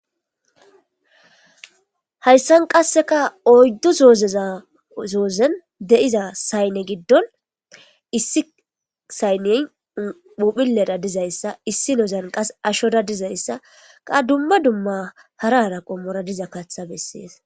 hayssan qasseka oyddu soozeza zoozen de7iza saynne giddon issi saynne puphilera dizayssa issi nozan qas ashoda dizayssa qa dumma dumma harara qommora diza katha bessees